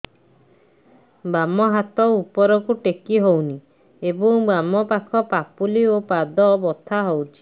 ବାମ ହାତ ଉପରକୁ ଟେକି ହଉନି ଏବଂ ବାମ ପାଖ ପାପୁଲି ଓ ପାଦ ବଥା ହଉଚି